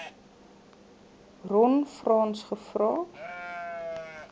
ron frans gevra